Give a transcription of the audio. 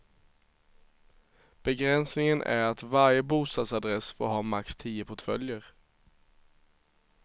Begränsningen är att varje bostadsadress får ha max tio portföljer.